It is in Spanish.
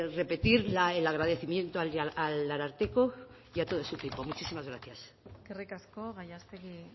repetir el agradecimiento al ararteko y a todo su equipo muchísimas gracias eskerrik asko gallástegui